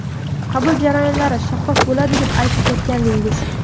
Qabul jarayonlari shaffof bo‘ladi deb aytib o‘tgandingiz.